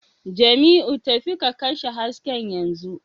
Jamiu, tafi ka kashe hasken yanzu